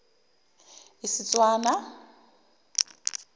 istswana